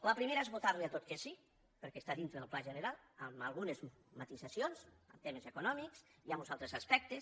la primera és votar·li a tot que sí perquè està dintre del pla general amb algu·nes matisacions en temes econòmics i en uns altres as·pectes